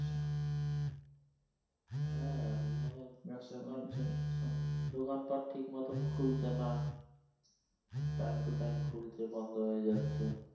হ্যাঁ, মানে দোকানপাট ঠিক মতো খুলছে নাহ time to time খুলছে বন্ধ হয়ে যাচ্ছে।